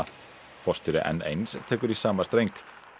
forstjóri n eins tekur í sama streng